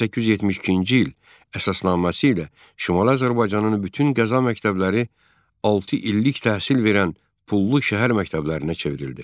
1872-ci il əsasnaməsi ilə Şimali Azərbaycanın bütün qəza məktəbləri 6 illik təhsil verən pullu şəhər məktəblərinə çevrildi.